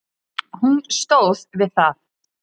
Hún stóð við það.